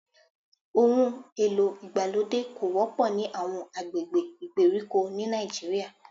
Ohùn èlò ìgbàlódé kò wọ́pọ̀ ní àwọn agbègbè ìgbèríko ní Nàìjíríà